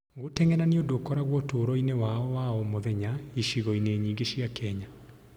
Gũteng'era nĩ ũndũ ũkoragwo ũtũũro-inĩ wa o mũthenya icagi-inĩ nyingĩ cia Kenya.